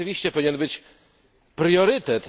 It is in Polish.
To rzeczywiście powinien być priorytet.